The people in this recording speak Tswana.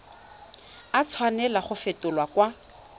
a tshwanela go fetolwa kwa